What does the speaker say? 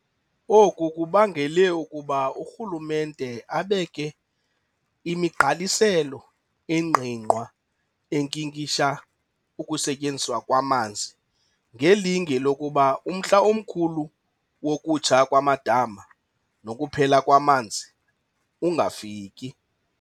Oku kubangele ukuba urhulumente abeke imigqaliselo engqingqwa enkinkisha ukusetyenziswa kwamanzi ngelinge lokuba umhl'omkhulu wokutsha kwamadama nokuphela kwamanzi ungafiki.